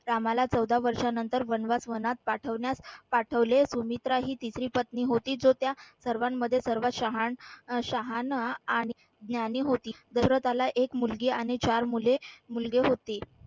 रामाला चौदा वर्षानंतर वनवास वनात पाठवण्यास पाठवले सुमित्रा ही तिसरी पत्नी होती. जो त्या सर्वांमध्ये सर्वात शहाण अह शहाणा आणि ज्ञानी होती. दशरथाला एक मुलगी आणि चार मुले मुलगे होती.